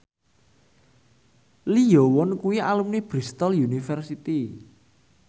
Lee Yo Won kuwi alumni Bristol university